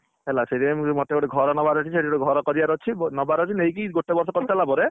ହେଲା ସେଥିପାଇଁ ମୋତେ ଗୋଟେ ଘର ନବାର ଅଛି ସେଇଠି ଘର କରିବାର ଅଛି ନବାର ଅଛି ନେଇକି ଗୋଟେ ବର୍ଷ କରିସାରିଲା ପରେ।